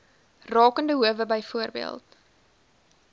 rakende howe byvoorbeeld